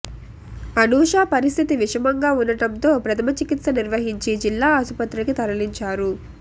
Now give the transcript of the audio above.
అనూష పరిస్థితి విషమంగా ఉండటంతో ప్రథమచికిత్స నిర్వహించి జిల్లా ఆసుపత్రికి తరలించారు